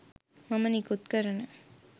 මම නිකුත් කරන